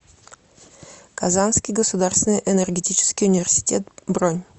казанский государственный энергетический университет бронь